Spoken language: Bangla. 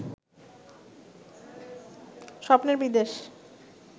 স্বপ্নের বিদেশ